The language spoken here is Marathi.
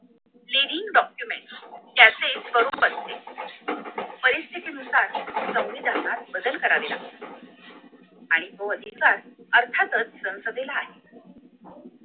leading documents यांचे स्वरूप असते परिस्थितीनुसार संविधानात बदल करावे लागतील आणि तो अधिकार अर्थातच संसदेला आहे